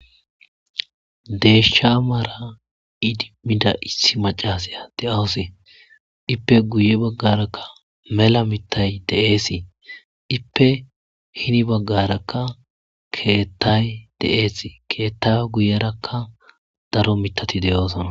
deeshsha maara idimida issi macasaya de7awosee ippe guye baggarakka mela mitay deeesi ippe hini baggarakka keettay deees keetta guyerakka daro mitati deyoosona